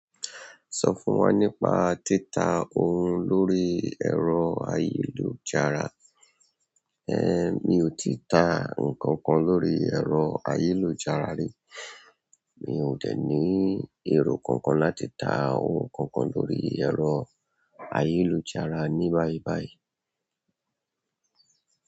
Sọ fún wa nípa títà ohun lórí ẹ̀rọ ayélujára. É mi ò ti ta ǹkan kan lórí ẹ̀rọ ayélujára rí. Mi ò tẹ̀ní èrò kankan láti ta ohun kankan lórí ẹ̀rọ ayélujára ni báìbàì.